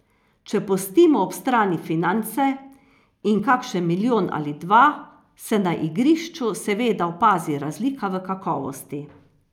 Če pustimo ob strani finance in kakšen milijon ali dva, se na igrišču seveda opazi razlika v kakovosti.